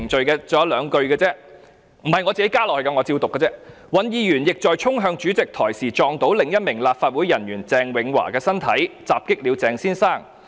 該信還有兩句，這並非我加入的，我只是引述："尹議員亦在衝向主席台時撞到另一名立法會人員鄭永華的身體，襲擊了鄭先生。